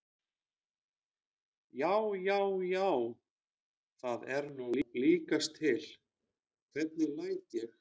JÁ, JÁ, JÁ, JÁ, ÞAÐ ER NÚ LÍKAST TIL, HVERNIG LÆT ÉG!